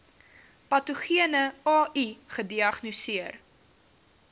patogene ai gediagnoseer